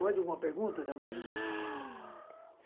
Mais alguma pergunta, Damaris?